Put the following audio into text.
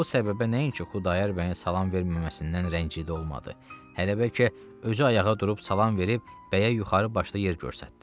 Bu səbəbə nəinki Xudayar bəyin salam verməməsindən rəngidə olmadı, hələ bəlkə özü ayağa durub salam verib bəyə yuxarı başda yer göstərdi.